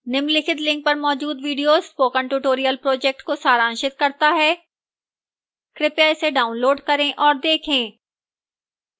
निम्नलिखित link पर मौजूद video spoken tutorial project को सारांशित करता है कृपया इसे डाउनलोड करें और देखें